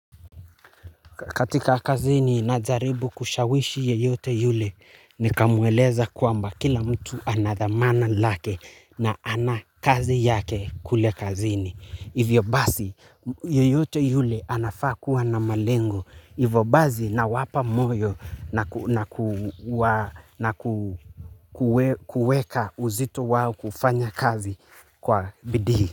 Katika kazini na jaribu kushawishi yeyote yule, nikamweleza kuwamba kila mtu anadhamana lake na ana kazi yake kule kazini. Hivyo basi, yeyote yule anafaa kuwa na malengo. Hivyo basi nawapa moyo na kuweka uzito wao kufanya kazi kwa bidii.